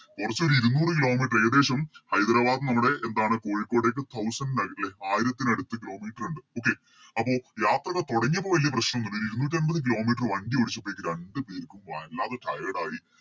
കൊറച്ചൊരു ഇരുനൂറ് Kilometer ഏകദേശം ഹൈദരാബാദിന്ന് അവിടെ എന്താണ് കോഴിക്കോടേക്ക് Thousand അല്ലെ ആയിരത്തിനടുത്ത് Kilometer ഇണ്ട് Okay അപ്പൊ യാത്രകള് തൊടങ്ങിയപ്പോ വല്യ പ്രശ്നോ ഒന്നുല്ല ഒരു ഇരുനൂറ്റമ്പത് Kilometer വണ്ടി ഓടിച്ചപ്പഴ്ത്തേക്ക് രണ്ട് പേർക്കും വല്ലാതെ Tired ആയി